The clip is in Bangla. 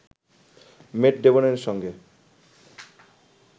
ম্যাট ডেমনের সঙ্গে